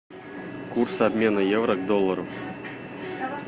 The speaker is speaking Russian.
курс обмена евро к доллару